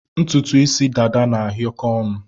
Ntụtụ isi dada na-ahịọkọ onu